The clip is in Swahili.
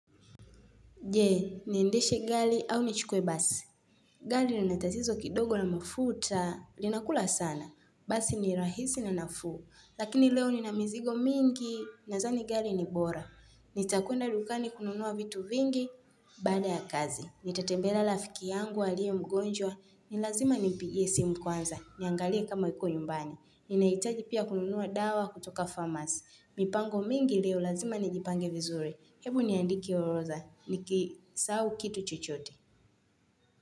Jee, niendeshe gali au nichukue basi. Gali linatatizo kidogo na mafuta, linakula sana. Basi ni rahisi na nafuu. Lakini leo ninamizigo mingi, nazani gali ni bora. Nitakuenda dukani kununua vitu vingi, baada ya kazi. Nitatembelea lafiki yangu, aliyemgonjwa, ni lazima nimpigie simu kwanza, niangalie kama yuko nyumbani. Ninahitaji pia kununua dawa kutoka pharmacy. Mipango mingi leo, lazima nijipange vizuri. Hebu niandike orodha, nikisahau kitu chochote.